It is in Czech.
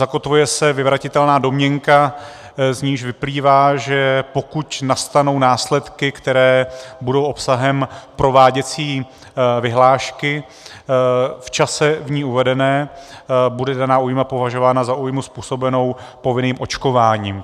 Zakotvuje se vyvratitelná domněnka, z níž vyplývá, že pokud nastanou následky, které budou obsahem prováděcí vyhlášky, v čase v ní uvedená, bude daná újma považována za újmu způsobenou povinným očkováním.